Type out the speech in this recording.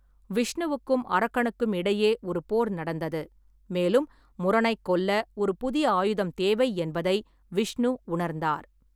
விஷ்ணுவுக்கும் அரக்கனுக்கும் இடையே ஒரு போர் நடந்தது, மேலும் முரனைக் கொல்ல ஒரு புதிய ஆயுதம் தேவை என்பதை விஷ்ணு உணர்ந்தார்.